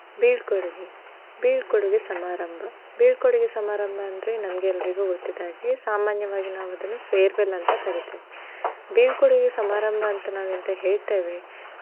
ಬೀಳ್ಕೊಡುಗೆ. ಬೀಳ್ಕೊಡುಗೆ ಸಮಾರಂಭ. ಬೀಳ್ಕೊಡುಗೆ ಸಮಾರಂಭ ಅಂದ್ರೆ ನಮ್ಗೆಲ್ರಿಗು ಗೊತ್ತಿದ್ದಾಗೆ ಸಾಮಾನ್ಯವಾಗಿ ನಾವ್ ಅದನ್ನ farewell ಅಂತಾ ಕರಿತೇವೆ. ಬೀಳ್ಕೊಡುಗೆ ಸಮಾರಂಭ ಅಂತ್ ನಾವ್ ಎಂತ ಹೇಳ್ತೇವೆ.